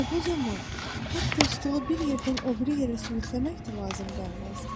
Və bu zaman hətta stolu bir yerdən o biri yerə sürükləmək də lazım gəlməzdi.